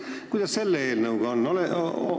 Kuidas selle eelnõuga on?